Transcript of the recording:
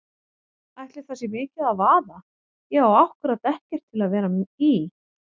Ætli það sé mikið að vaða, ég á ákkúrat ekkert til að vera í.